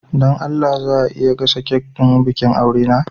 Don Allah za a iya gasa kek ɗin bikin aure na?